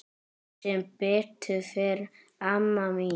Sem betur fer amma mín.